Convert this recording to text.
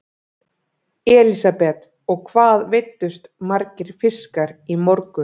Elísabet: Og hvað veiddust margir fiskar í morgun?